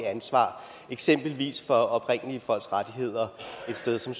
ansvar eksempelvis for oprindelige folks rettigheder et sted som